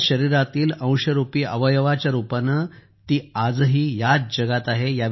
आपल्या शरीरातील अंशरूपी अवयवाच्या रूपानं ती आज ही याच जगात आहे